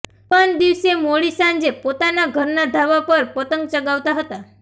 યુવાન દિવસે મોડી સાંજે પોતાના ઘરના ધાબા પર પતંગ ચગાવતા હતા